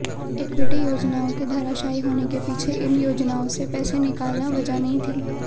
equity योजनाओं के धराशायी होने के पीछे इन योजनाओं से पैसे निकालना वजह नहीं थी